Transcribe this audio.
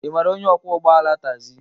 Ị maara onye ọkwọ ụgbọ ala tagzi?